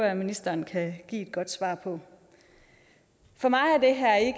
at ministeren kan give et godt svar på for mig